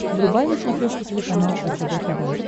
врубай на смотрешке телеканал ржд тв